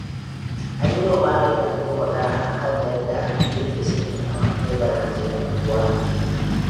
An yiwa Malam Lado magana a kan yadda yake sakin awakai barkatai a unguwa